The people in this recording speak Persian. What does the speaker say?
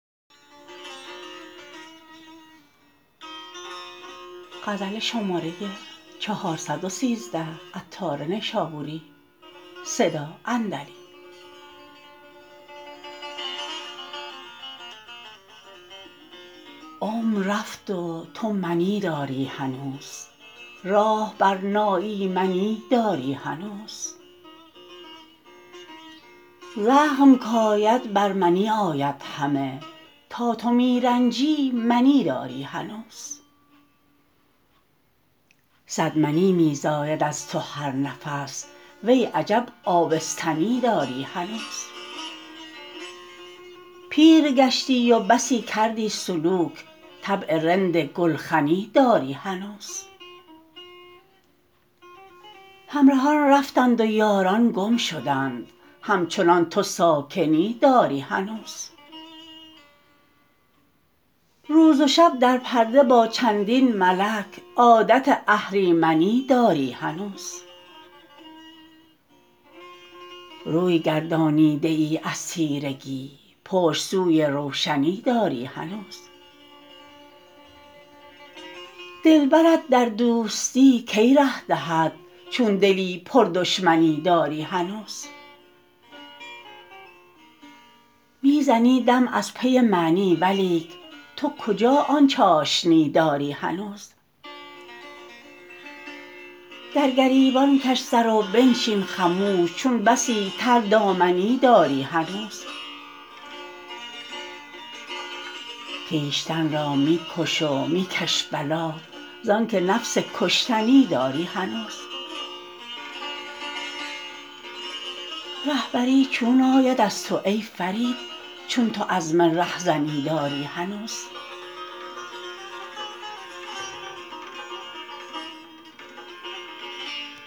عمر رفت و تو منی داری هنوز راه بر ناایمنی داری هنوز زخم کاید بر منی آید همه تا تو می رنجی منی داری هنوز صد منی می زاید از تو هر نفس وی عجب آبستنی داری هنوز پیر گشتی و بسی کردی سلوک طبع رند گلخنی داری هنوز همرهان رفتند و یاران گم شدند همچنان تو ساکنی داری هنوز روز و شب در پرده با چندین ملک عادت اهریمنی داری هنوز روی گردانیده ای از تیرگی پشت سوی روشنی داری هنوز دلبرت در دوستی کی ره دهد چون دلی پر دشمنی داری هنوز می زنی دم از پی معنی ولیک تو کجا آن چاشنی داری هنوز در گریبان کش سر و بنشین خموش چون بسی تر دامنی داری هنوز خویشتن را می کش و می کش بلا زانکه نفس کشتنی داری هنوز رهبری چون آید از تو ای فرید چون تو عزم رهزنی داری هنوز